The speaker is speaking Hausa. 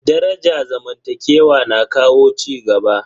Daraja zamantakewa na kawo cigaba.